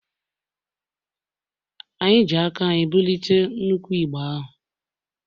anyị ji aka anyị bulie nnukwu igbe ahụ